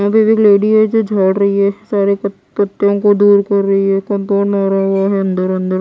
वहां पे भी लेडी है जो झाड़ रही है सारे पत्ते को दूर कर रही है अन्दर अन्दर--